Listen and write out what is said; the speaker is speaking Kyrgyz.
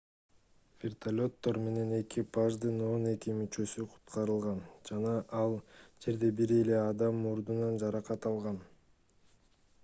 вертолеттор менен экипаждын он эки мүчөсү куткарылган жана ал жерде бир эле адам мурдунан жаракат алган